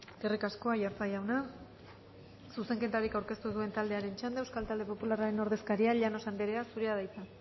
eskerrik asko aiartza jauna zuzenketarik aurkeztu duen taldearen txanda euskal talde popularraren ordezkaria llanos anderea zurea da hitza